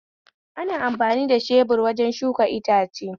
Ana amfani da shebur wajen shuka itace